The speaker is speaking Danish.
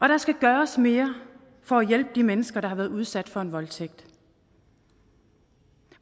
der skal gøres mere for at hjælpe de mennesker der har været udsat for en voldtægt